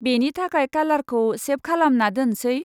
बेनि थाखाय खालारखौ सेभ खालामना दोनसै।